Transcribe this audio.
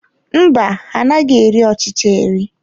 Mba, ha anaghị eri ọchịcha eri.